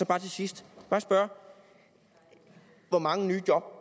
bare til sidst spørge hvor mange nye job